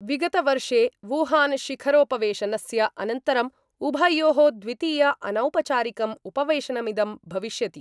विगतवर्षे वुहानशिखरोपवेशनस्य अनन्तरं उभयो: द्वितीय अनौपचारिकं उपवेशनमिदं भविष्यति।